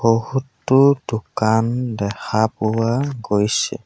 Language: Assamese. বহুতো দোকান দেখা পোৱা গৈছে।